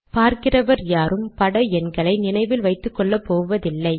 பார்க்கிறவர் யாரும் பட எண்களை நினைவில் வைத்துக்கொள்ளப் போவதில்லை